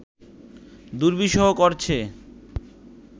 দুর্বিষহ করছে